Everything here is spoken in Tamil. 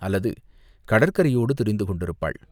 அல்லது கடற்கரையோடு திரிந்து கொண்டிருப்பாள்.